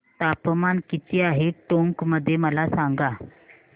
तापमान किती आहे टोंक मध्ये मला सांगा